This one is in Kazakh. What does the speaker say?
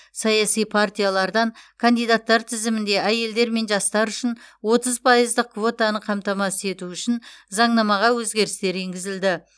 саяси партиялардан кандидаттар тізімінде әйелдер мен жастар үшін отыз пайыздық квотаны қамтамасыз ету үшін заңнамаға өзгерістер енгізілді